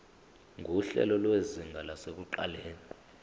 nguhlelo lwezinga lasekuqaleni